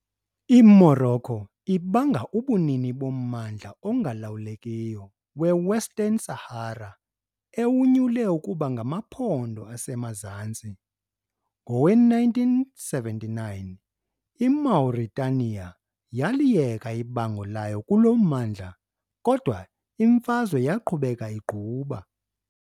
I-Morocco ibanga ubunini bommandla ongalawulekiyo we- Western Sahara, ewunyule ukuba ngamaPhondo aseMazantsi . Ngowe-1979, iMauritania yaliyeka ibango layo kuloo mmandla, kodwa imfazwe yaqhubeka igquba.